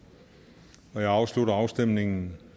der jeg slutter afstemningen